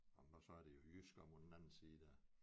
Nåh så er det jo Jysk omme på den anden side dér